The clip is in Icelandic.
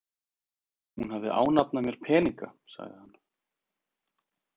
Hún hafði ánafnað mér peninga, sagði hann.